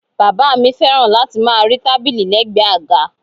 Bàbá mi fẹ́ràn láti máa rí tábìlì lẹgbẹ àga.